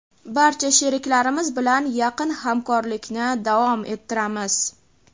barcha sheriklarimiz bilan yaqin hamkorlikni davom ettiramiz.